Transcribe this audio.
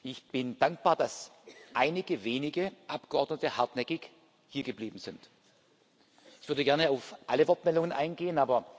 Ich bin dankbar, dass einige wenige Abgeordnete hartnäckig hiergeblieben sind. Ich würde gerne auf alle Wortmeldungen eingehen.